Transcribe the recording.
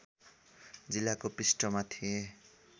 जिल्लाको पृष्ठमा थिए